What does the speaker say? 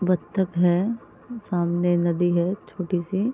बत्तख है सामने नदी है छोटी-सी।